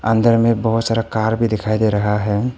अंदर में बहुत सारा कार भी दिखाई दे रहा है।